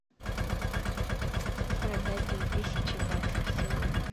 продать две тысячи баксов сегодня